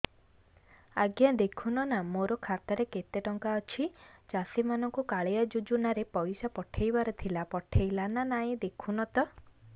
ଆଜ୍ଞା ଦେଖୁନ ନା ମୋର ଖାତାରେ କେତେ ଟଙ୍କା ଅଛି ଚାଷୀ ମାନଙ୍କୁ କାଳିଆ ଯୁଜୁନା ରେ ପଇସା ପଠେଇବାର ଥିଲା ପଠେଇଲା ନା ନାଇଁ ଦେଖୁନ ତ